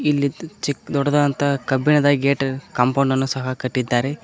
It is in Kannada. ಇಲ್ಲಿ ಚಿಕ್ ದೊಡ್ಡದಂತಹ ಕಬ್ಬಿಣದ ಗೇಟ್ ಕಾಂಪೌಂಡ್ ಅನ್ನು ಸಹ ಕಟ್ಟಿದ್ದಾರೆ.